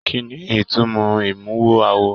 Kínní ìtumọ̀ imuwọ̀ awo?